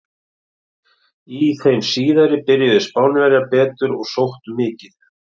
Í þeim síðari byrjuðu Spánverjar betur og sóttu mikið.